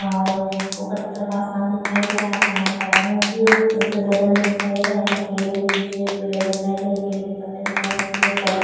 और ऊपर की तरफ आसमान दिखाई दे रहा है आसमान का रंग रंग में दिखाई दे रहा है। यहाँ पर कुछ केले के पेड़ दिखाई दे रहे है केले के पत्ते दिखाई